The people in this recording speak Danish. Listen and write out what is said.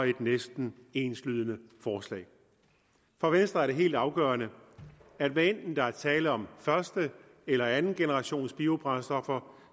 er næsten enslydende forslag for venstre er det helt afgørende at hvad enten der er tale om første eller andengenerationsbiobrændstoffer